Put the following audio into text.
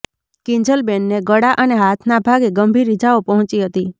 કિંજલબેનને ગળા અને હાથના ભાગે ગંભીર ઇજાઓ પહોંચી હતી